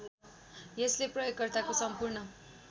यसले प्रयोगकर्ताको सम्पूर्ण